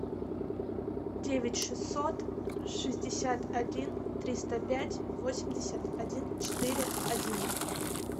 девять шестьсот шестьдесят один триста пять восемьдесят один четыре один